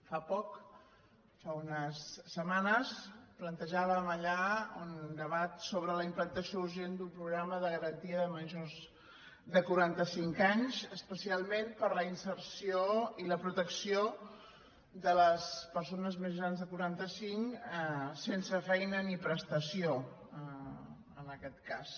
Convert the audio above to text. fa poc fa unes setmanes plantejàvem allà un debat sobre la implantació urgent d’un programa de garantia de majors de quaranta cinc anys especialment per a la inserció i la protecció de les persones més grans de quaranta cinc sense feina ni prestació en aquest cas